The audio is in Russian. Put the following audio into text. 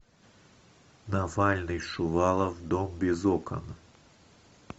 навальный шувалов дом без окон